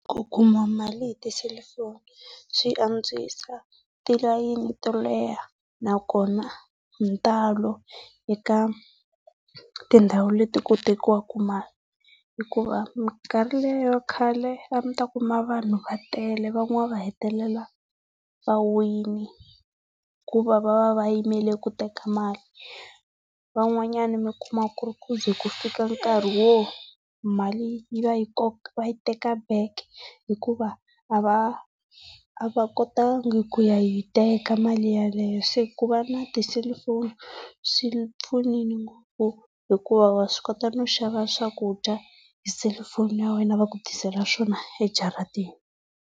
Ku kuma hi mali tiselufoni swi antswisa tilayini to leha nakona hi ntalo eka tindhawu leti ku tekiwaka mali hikuva mikarhi leya khale a mi ta kuma vanhu va tele van'wana va hetelelaa va wile hikuva va va va yimele ku teka mali. Van'wanyana mi kuma ku ri ku ze ku fika nkarhi wo mali yi va yi va yi teka back hikuva a va, a va kotanga ku ya yi teka mali yeleyo. Se ku va na tiselufoni swi pfunile hikuva wa swi kota no xava swakudya hi selufoni ya wena va ku tisela swona ejaratini.